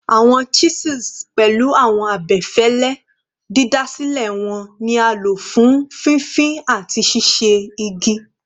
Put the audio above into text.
Awọn chisels, pẹlu awọn abẹfẹlẹ didasilẹ wọn, ni a lo fun fifin ati ṣiṣe igi